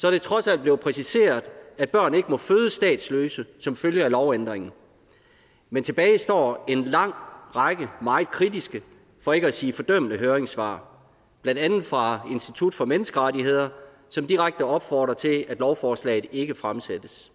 er det trods alt blevet præciseret at børn ikke må fødes statsløse som følge af lovændringen men tilbage står en lang række meget kritiske for ikke at sige fordømmende høringssvar blandt andet fra institut for menneskerettigheder som direkte opfordrer til at lovforslaget ikke fremsættes